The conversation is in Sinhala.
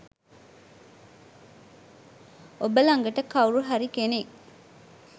ඔබ ළඟට කවුරු හරි කෙනෙක්